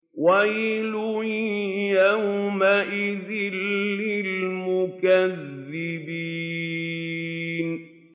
وَيْلٌ يَوْمَئِذٍ لِّلْمُكَذِّبِينَ